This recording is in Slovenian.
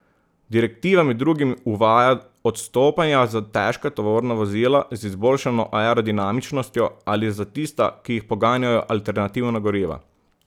Direktiva med drugim uvaja odstopanja za težka tovorna vozila z izboljšano aerodinamičnostjo ali za tista, ki jih poganjajo alternativna goriva.